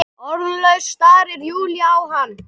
Orðlaus starir Júlía á hana.